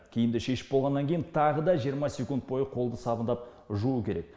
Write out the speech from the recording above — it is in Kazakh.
киімді шешіп болғаннан кейін тағы да жиырма секунд бойы қолды сабындап жуу керек